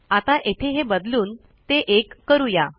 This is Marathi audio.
आता येथे हे बदलून ते 1 करू या